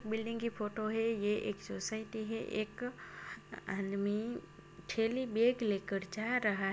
building की photo है ये एक सोसाइटी है एक हन में थैली बैग लेकर जा रहा--